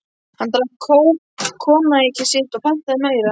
Hann drakk koníakið sitt og pantaði meira.